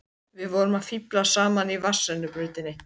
Við vorum að fíflast saman í vatnsrennibrautinni!